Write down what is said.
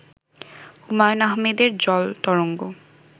হুমায়ূন আহমেদের জলতরঙ্গ